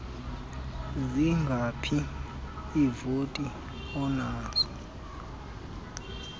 zingaphi iivoti onazo